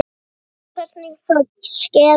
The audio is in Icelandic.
Enginn veit hvernig það skeði.